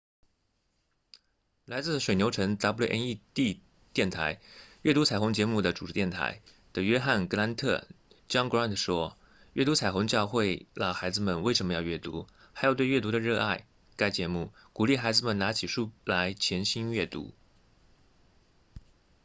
来自水牛城 wned 电台阅读彩虹”节目的主电台的约翰·格兰特 john grant 说：阅读彩虹教会了孩子们为什么要阅读还有对阅读的热爱——该节目鼓励孩子们拿起书来潜心阅读